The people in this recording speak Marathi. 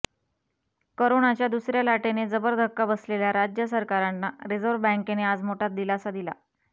करोनाच्या दुसऱ्या लाटेने जबर धक्का बसलेल्या राज्य सरकारांना रिझर्व्ह बँकेने आज मोठा दिलासा दिला